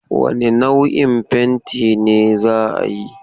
Wane nau'in fenti ne za ayi?